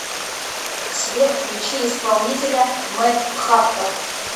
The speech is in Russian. сбер включи исполнителя мэд хаттер